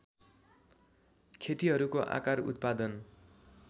खेतीहरूको आकार उत्पादन